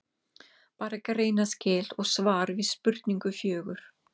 Bara greinaskil og svar við spurningu fjögur.